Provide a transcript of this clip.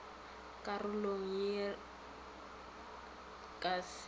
karolong ye re ka se